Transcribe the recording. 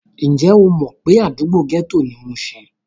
Ǹjẹ́ o mọ̀ pé àdúgbò gẹ́tò ni mushin?